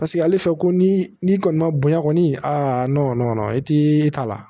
Paseke ale filɛ ko ni n'i kɔni ma bonya kɔni a i ti taa